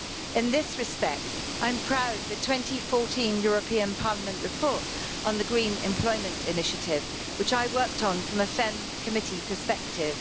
In this respect, I'm proud of the 2014 European Parliament report on the Green Employment Initiative, which I worked on from a FEMM Committee perspective.